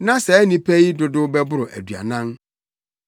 Na saa nnipa no dodow bɛboro aduanan.